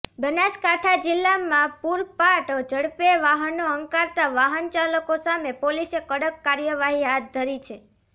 બનાસકાંઠા જિલ્લામાં પુરપાટ ઝડપે વાહનો હંંકારતા વાહન ચાલકો સામે પોલીસે કડક કાર્યવાહી હાથ ધરી છે